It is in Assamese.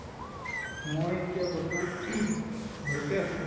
মই এতিয়া বৰ্তমান ঘৰতে আছো